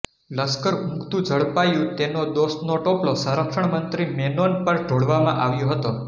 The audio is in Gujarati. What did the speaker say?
લશ્કર ઉંઘતું ઝડપાયું તેનો દોષનો ટોપલો સંરક્ષણ મંત્રી મેનોન પર ઢોળવામાં આવ્યો હતો